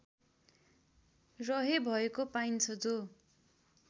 रहेभएको पाइन्छ जो